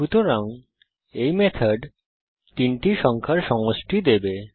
সুতরাং এই মেথড তিনটি সংখ্যার সমষ্টি দেবে